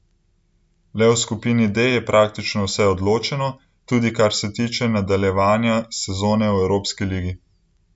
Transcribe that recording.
Le v skupini D je praktično vse odločeno, tudi kar se tiče nadaljevanja sezone v evropski ligi.